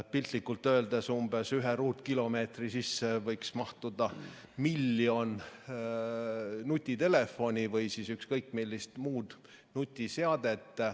Piltlikult öeldes võiks ühe ruutkilomeetri sisse mahtuda umbes miljon nutitelefoni või ükskõik millist muud nutiseadet.